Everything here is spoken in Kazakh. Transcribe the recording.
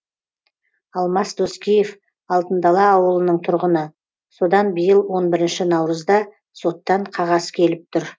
алмас доскеев алтын дала ауылының тұрғыны содан биыл он бірінші наурызда соттан қағаз келіп тұр